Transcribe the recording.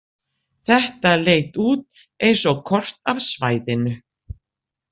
Þetta leit út eins og kort af svæðinu.